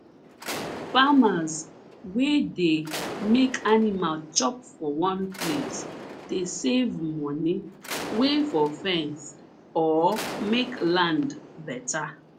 farmers wey dey make animal chop for one place dey save money wey for fence or make land better